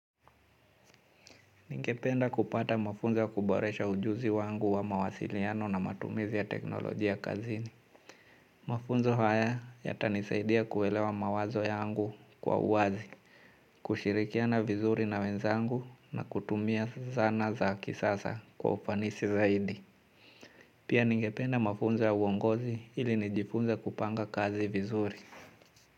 Ningependa kupata mafunzo ya kuboresha ujuzi wangu wa mawasiliano na matumizi ya teknolojia kazini. Mafunzo haya, yatanisaidia kuelewa mawazo yangu, kwa uwazi. Kushirikiana vizuri na wenzangu na kutumia zana za kisasa kwa ufanisi zaidi. Pia, ningependa mafunzo ya uongozi ili nijifunze kupanga kazi vizuri.